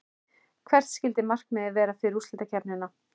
Hvert skyldi markmiðið vera fyrir úrslitakeppnina?